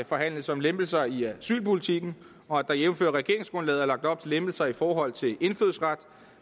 forhandles om lempelser i asylpolitikken og at der jævnfør regeringsgrundlaget er lagt op til lempelser i forhold til indfødsretten